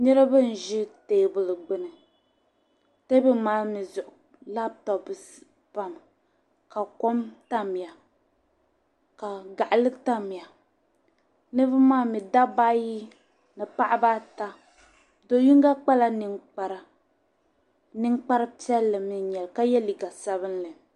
Niriba n-ʒi teebuli gbini. Teebuli maa mi zuɣu lapitɔpu pami ka kom tamya ka gaɣili tamya. Niriba maa mi dabba ayi ni paɣiba ata. Do' yiŋga kpala niŋkpara. Niŋkpar' piɛlli mi n-nyɛ li ka ye liiga sabilinli.